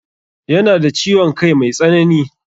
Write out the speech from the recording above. Ya na da ciwon kai mai tsanani.